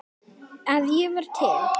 að ég var til.